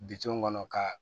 Bitɔn kɔnɔ ka